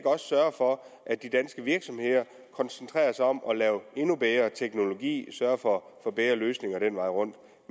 sørge for at de danske virksomheder koncentrerer sig om at lave endnu bedre teknologi sørger for bedre løsninger den vej rundt